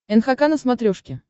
нхк на смотрешке